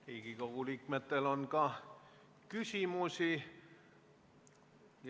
Riigikogu liikmetel on küsimusi.